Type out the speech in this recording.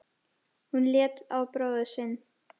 Hún leit á bróður sinn.